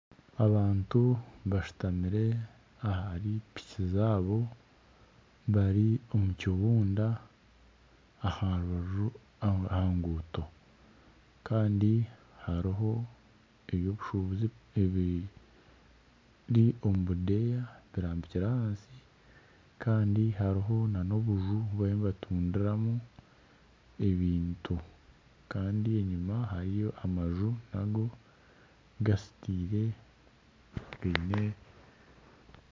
Abantu bashutamire ahari piki zaabo bari omu kibunda aha nguuto kandi hariho eby'obushubuzi ebiri omu budeeya barambikire ahansi kandi hariho n'obuju obu bariyo nibatundiramu ebintu kandi enyima hariyo amaju gazitiire